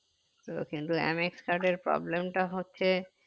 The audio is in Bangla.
তো কিন্তু MX card এর problem টা হচ্ছে